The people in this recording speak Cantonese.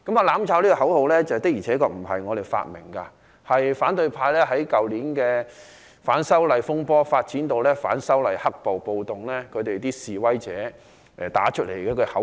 "攬炒"這個口號的確不是由我們發明，是反對派在去年反修例風波發展至反修例黑暴、暴動期間，示威者打出來的口號。